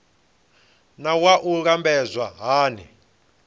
naa wua i lambedzwa hani